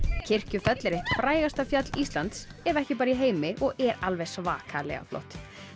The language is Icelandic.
Kirkjufell er eitt frægasta fjall Íslands ef ekki bara í heimi og er alveg svakalega flott